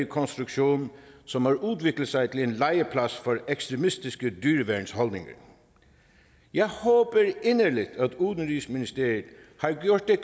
konstruktion som har udviklet sig til en legeplads for ekstremistiske dyreværnsholdninger jeg håber inderligt at udenrigsministeriet har gjort det